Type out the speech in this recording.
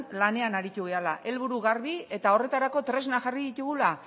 lanean aritu garela helburu garbi eta horretarako tresnak jarri ditugula